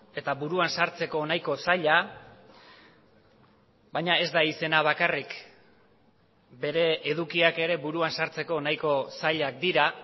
eta buruan sartzeko nahiko zaila baina ez da izena bakarrik bere edukiak ere buruan sartzeko nahiko zailak dira